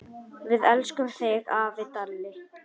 Við elskum þig, afi Dalli.